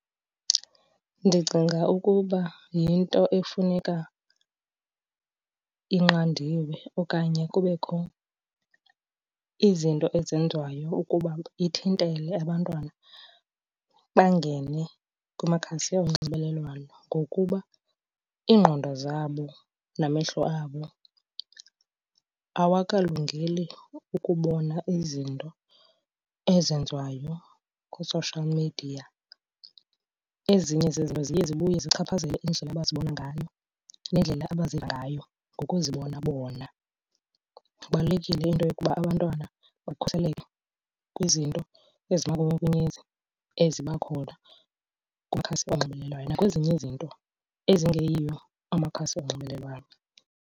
Ndicinga ukuba yinto efuneka inqandiwe okanye kubekho izinto ezenziwayo ukuba ithintele abantwana bangene kumakhasi onxibelelwano. Ngokuba iingqondo zabo namehlo abo awakalungeli ukubona izinto ezenziwayo kwi-social media. Ezinye zezinto ziye zibuye zichaphazele indlela abazibona ngayo nendlela abaziva ngayo ngokuzibona bona. Kubalulekile into yokuba abantwana bakhuseleke kwizinto ezimanyukunyezi eziba khona kumakhasi onxibelelwano nakwezinye izinto ezingeyiyo amakhasi onxibelelwano.